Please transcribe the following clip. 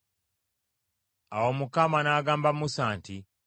Awo Mukama n’agamba Musa nti,